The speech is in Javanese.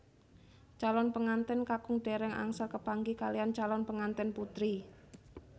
Calon pengantèn kakung dèrèng angsal kepanggih kaliyan calon pengantèn putri